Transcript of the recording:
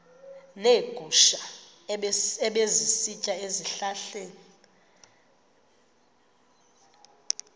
neegusha ebezisitya ezihlahleni